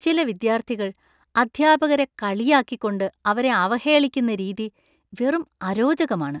ചില വിദ്യാർത്ഥികൾ അധ്യാപകരെ കളിയാക്കിക്കൊണ്ട് അവരെ അവഹേളിക്കുന്ന രീതി വെറും അരോചകമാണ്.